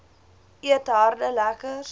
eet harde lekkers